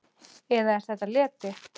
Eða er þetta leti?